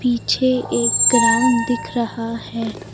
पीछे एक ग्राउंड दिख रहा है।